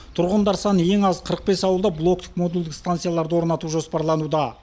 тұрғындар саны ең аз қырық бес ауылда блоктық модульді станцияларды орнату жоспарлануда